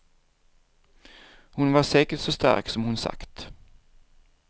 Hon var säkert så stark som hon sagt.